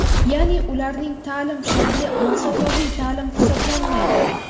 yaʼni ularning taʼlim shakli masofaviy taʼlim hisoblanmaydi.